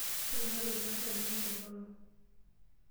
Ore ena toki naasita neme toronok.